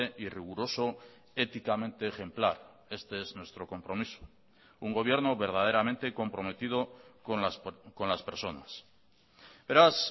y riguroso éticamente ejemplar este es nuestro compromiso un gobierno verdaderamente comprometido con las personas beraz